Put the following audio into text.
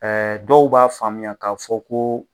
dɔw b'a faamuya k'a fɔ ko.